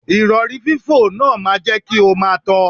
Ìrọ̀rí fífò náà máa jẹ́ kí o máa tọ.